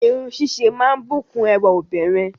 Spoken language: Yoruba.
Irun ṣíṣe máa ń bùkún ẹwà obìnrin